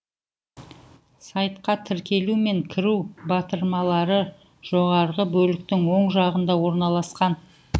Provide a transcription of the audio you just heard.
сайтқа тіркелу мен кіру батырмалары жоғарғы бөліктің оң жағында орналасқан